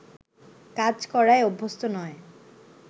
কাজ করায় অভ্যস্ত নয়